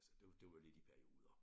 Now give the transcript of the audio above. Altså det det var lidt i perioder